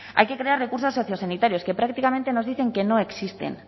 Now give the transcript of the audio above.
hay que crear recursos sociosanitarios que prácticamente nos dicen que no existen